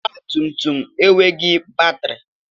Ọgba tum tum enweghị batrị.